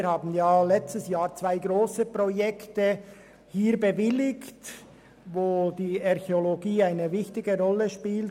Wir haben letztes Jahr zwei grosse Projekte bewilligt, bei denen die Archäologie eine wichtige Rolle spielt.